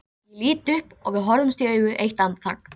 Ég lít upp og við horfumst í augu eitt andartak.